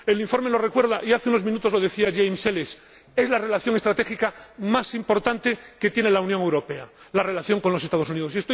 El informe nos recuerda y hace unos minutos lo decía James Elles que la relación estratégica más importante que tiene la Unión Europea es la relación con los Estados Unidos.